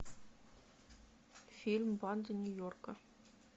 фильм банды нью йорка